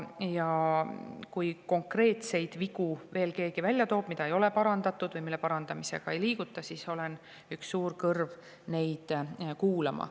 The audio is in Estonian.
Ja kui keegi toob veel välja konkreetseid vigu, mida ei ole parandatud või mille parandamisega ei liiguta edasi, siis olen üks suur kõrv neid kuulama.